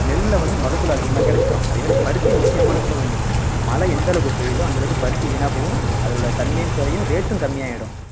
நெல்ல வந்து மகசூல் அதிகமா கிடைச்சுரும் அதே மாதிரி பருத்தி முக்கியமானத்துல ஒண்ணு மழை எந்த அளவுக்கு பெய்யுதோ அந்த அளவுக்கு பருத்தி வீணா போகும் அதோட தன்மையும் குறையும் rate உம் கம்மியாயிடும்